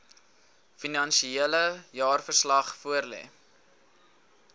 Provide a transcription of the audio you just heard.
finansiële jaarverslag voorlê